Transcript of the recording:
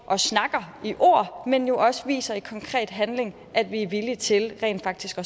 og snakker men også viser i konkret handling at vi er villige til rent faktisk